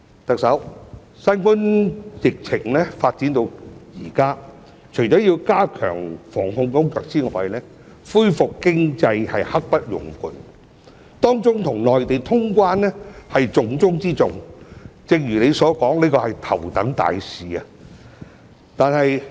特首，新冠疫情發展至現在，除要加強防控工作外，恢復經濟是刻不容緩，當中與內地通關是重中之重，正如你所說，這是頭等大事。